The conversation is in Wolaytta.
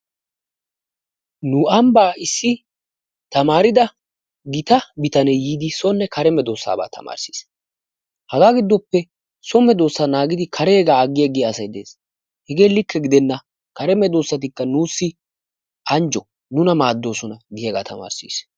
Nu ambbaan issi tamaarida gita bitane yiidi soonne kare meddoossabaa tamarssees. Hagaa giddoppe so medoossa naagidi kareegaa aggi aggiya asay de'ees. Hegge likke giddenna kare meddoossatikka nuussi anjjo nuna maaddoosona giyagaa tamarssiis.